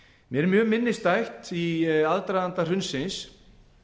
mér er mjög minnisstætt í aðdraganda hrunsins